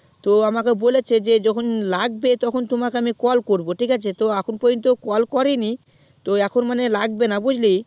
তো আমাকে বলেছে যখন লাগবে তোমাকে আমি call করবো ঠিক আছে তো এখন পর্যন্ত call করেনি তো এখন মনে হয় লাগবেনা বুঝলি